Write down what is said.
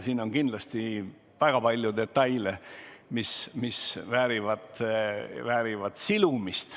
Siin on kindlasti väga palju detaile, mis vajavad silumist.